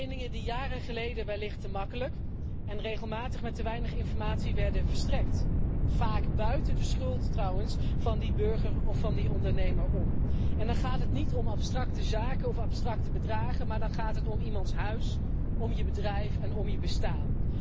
Leningen die jaren geleden wellicht te makkelijk en regelmatig met te weinig informatie werden verstrekt, vaak buiten de schuld trouwens van die burger of van die ondernemer om. En dan gaat het niet om abstracte zaken of abstracte bedragen, maar dan gaat het om iemands huis, om je bedrijf, en om je bestaan.